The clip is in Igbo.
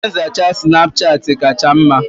Ihe nzacha Sinapuchati kacha mma.